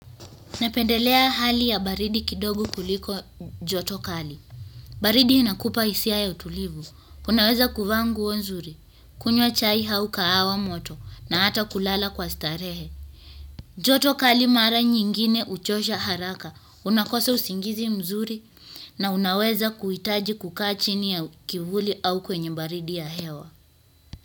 Napendelea hali ya baridi kidogo kuliko joto kali. Baridi inakupa hisia ya utulivu. Unaweza kuvaa nguo nzuri, kunywa chai au kahawa moto na hata kulala kwa starehe. Joto kali mara nyingine huchosha haraka. Unakosa usingizi mzuri na unaweza kuitaji kukaa chini ya kivuli au kwenye baridi ya hewa.